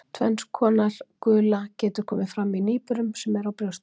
Tvenns konar gula getur komið fram í nýburum sem eru á brjósti.